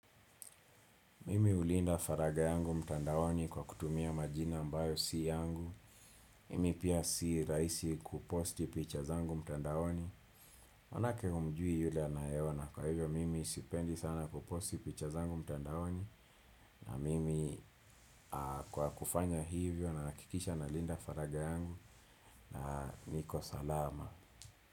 Mimi hulinda faraga yangu mtandaoni kwa kutumia majina ambayo si yangu. Mimi pia si rahisi kuposti picha zangu mtandaoni manake humjui yule anayeona kwa hivyo mimi sipendi sana kuposti picha zangu mtandaoni. Na mimi kwa kufanya hivyo nahakikisha nalinda faraga yangu na niko salama.